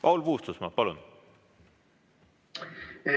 Paul Puustusmaa, palun!